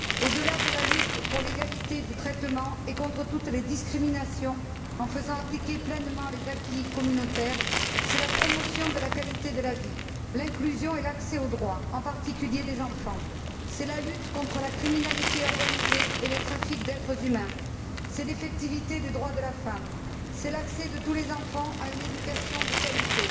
Au delà de la lutte pour l'égalité du traitement et contre toutes les discriminations, en faisant appliquer pleinement les acquis communautaires, c'est la promotion de la qualité de la vie, l'inclusion et l'accès aux droits en particulier des enfants c'est la lutte contre la criminalité organisée et les trafics d'êtres humains, c'est l'effectivité des droits de la femme, c'est l'accès de tous les enfants à une éducation de qualité,